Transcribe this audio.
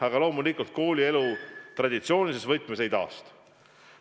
Aga loomulikult koolielu traditsioonilises võtmes ei taastu.